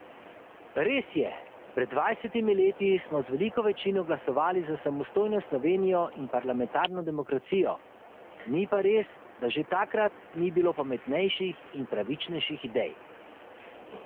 Res je, pred dvajsetimi leti smo z veliko večino glasovali za samostojno Slovenijo in parlamentarno demokracijo, ni pa res, da že takrat ni bilo pametnejših in pravičnejših idej.